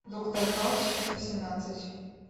доктор хаус часть восемнадцать